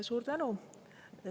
Suur tänu!